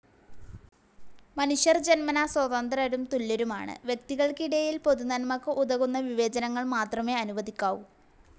മനുഷ്യർ ജന്മനാ സ്വതന്ത്രരും തുല്യരുമാണ്. വ്യക്തികൾക്കിടയിൽ പൊതുനന്മക്ക് ഉതകുന്ന വിവേചനങ്ങൾ മത്രമേ അനുവദിക്കാവൂ